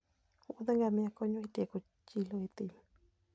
wuoth ngamia konyo e tieko chilo e thim.